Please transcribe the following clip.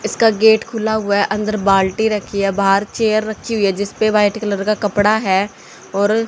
इसका गेट खुला हुआ है अंदर बाल्टी रखी है बाहर चेयर रखी हुई है जिस पे वाइट कलर का कपड़ा है और--